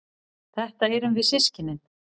Þetta erum við systkinin.